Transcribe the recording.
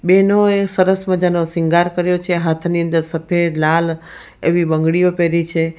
બેનો એ સરસ મજાનો સિંગાર કર્યો છે હાથની અંદર સફેદ લાલ એવી બંગડીઓ પહેરી છે.